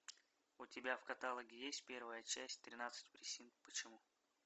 у тебя в каталоге есть первая часть тринадцать причин почему